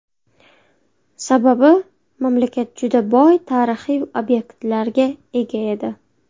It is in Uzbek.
Sababi, mamlakat juda boy tarixiy obyektlarga ega edi.